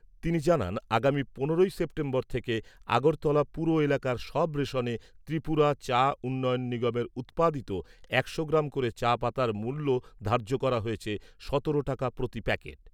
তিনি জানান, আগামী পনেরোই সেপ্টেম্বর থেকে আগরতলা পুর এলাকার সব রেশনে ত্রিপুরা চা উন্নয়ন নিগমের উৎপাদিত একশো গ্রাম করে চা পাতার মূল্য ধার্য্য হয়েছে সতেরো টাকা প্রতি প্যাকেট।